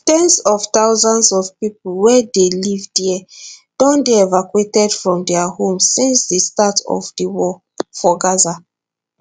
ten s of thousands of pipo wey dey live dia don dey evacuated from dia homes since di start of di war for gaza